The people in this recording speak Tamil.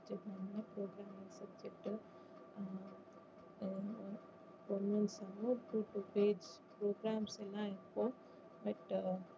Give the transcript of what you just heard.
sum ம் two two page programs எல்லாம் இருக்கும் but